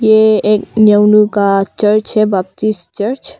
यह एक नियाउनु का चर्च है बैप्टिस्ट चर्च ।